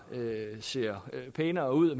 ser pænere ud og